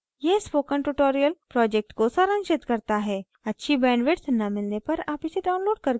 यह spoken tutorial project को सारांशित करता है अच्छी bandwidth न मिलने पर आप इसे download करके देख सकते हैं